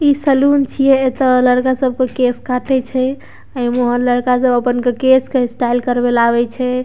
ई salon छिये | एता लड़का सबके केश काटे छै | ए में लड़का सब अपन केश के स्टाइल करवे ले आवे छै ।